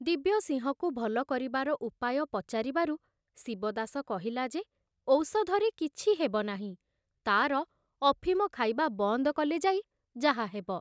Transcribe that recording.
ଦିବ୍ୟସିଂହକୁ ଭଲ କରିବାର ଉପାୟ ପଚାରିବାରୁ ଶିବଦାସ କହିଲା ଯେ ଔଷଧରେ କିଛି ହେବନାହିଁ, ତାର ଅଫିମ ଖାଇବା ବନ୍ଦ କଲେ ଯାଇ ଯାହାହେବ।